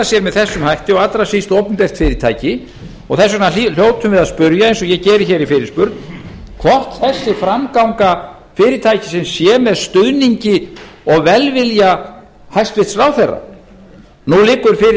sér með þessum hætti og allra síst opinbert fyrirtæki og þess vegna hljótum við að spyrja eins og ég geri hér i fyrirspurn hvort þessi framganga fyrirtækisins sé með stuðningi og velvilja hæstvirtur ráðherra nú liggur fyrir